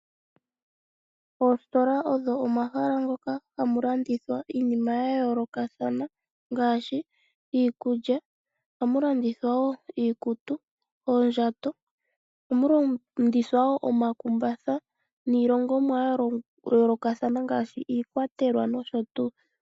Oositola odho omahala ngoka ha mu landithwa iinima yomaludhi ga yoolokathana. Oha mu landithwa iinima ngaashi iikulya, iikutu, oondjato, omakumbatha niilongomwa ya yoolokathana ngaashi iikwatelwa nosho tuu.